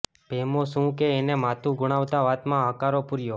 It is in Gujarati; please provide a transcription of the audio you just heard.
ભેમો શુ કે એને માથું ધુણાવતા વાતમાં હકારો પૂર્યો